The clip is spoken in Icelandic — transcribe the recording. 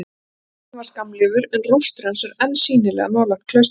Skólinn varð skammlífur, en rústir hans eru enn sýnilegar nálægt klaustrinu.